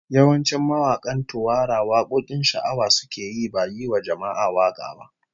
Yawancin mawakan Tuwara wakokin sha'awa suke yi, ba yiwa jama'a waka ba